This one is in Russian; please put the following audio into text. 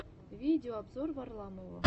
видеообзор варламова